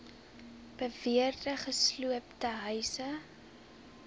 beweerde gesloopte huise